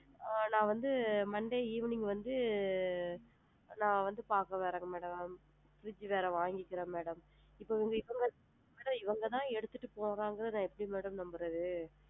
ஆ நான் வந்து monday evening வந்து நான் வந்து பாக்க வரேன் madam fridge வேற வாங்கிக்கிறேன் madam இப்போ உங்களுக்கு இவுங்க தான் எடுத்துட்டு போவாங்கன்னு நான் எப்படி madam நம்புறது.